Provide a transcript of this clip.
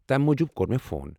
تمہِ موٗجوٗب کوٚر مےٚ فون۔